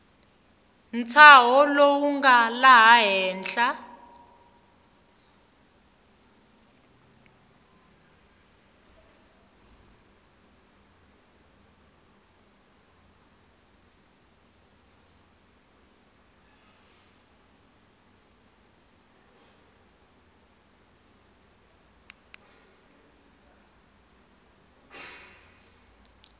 ntshaho lowu nga laha henhla